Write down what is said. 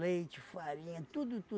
farinha, tudo,